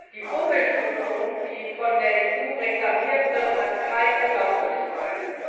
Die Vorbildfunktion, die von der EU reklamiert wird, hat keine Glaubwürdigkeit.